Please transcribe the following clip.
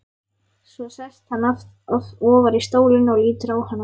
Svo sest hann ofar í stólinn og lítur á hana.